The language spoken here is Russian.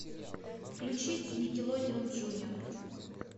включить никелодеон джуниор